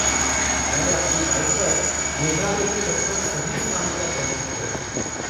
मैंने अपनी बाइक पर मेघालय के लगभग सभी स्थानों का भ्रमण किया है।